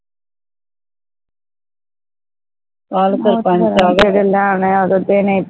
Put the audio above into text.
ਜੇੜੇ ਲੈਣੇ ਹੈ ਉਹ ਤਾ ਦੇਣੇ ਹੀ ਪੈਣੇ ਹੈ